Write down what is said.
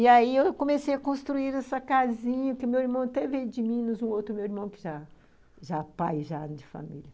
E aí eu comecei a construir essa casinha, que meu irmão até veio de Minas, o outro meu irmão que já , já pai já de família.